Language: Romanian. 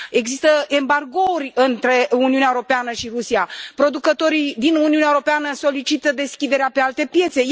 Există embargouri între Uniunea Europeană și Rusia, producătorii din Uniunea Europeană solicită deschiderea pe alte piețe.